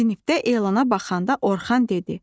Sinifdə elana baxanda Orxan dedi: